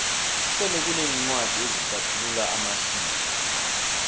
sele kuneencwadi ezihlathulula amasiko